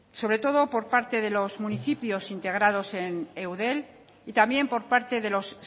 sobre todo por parte de los municipios integrados en eudel y también por parte de los